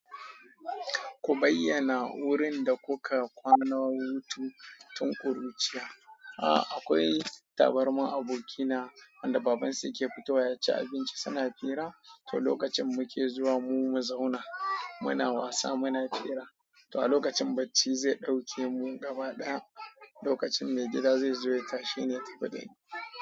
Ku bayyana wurin da kuka kwana hutu tun kuruciya. A akwai tabarmar abokina, wanda babansu yaci abinci suna fira to lokacin muke zuwa mu zauna muna wasa muna fira. To a lokacin bacci zai ɗauke mu gaba ɗaya, lokacin mai gida zai zo ya tashi ne ya tafi dani.